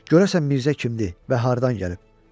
Görəsən Mirzə kimdir və hardan gəlib?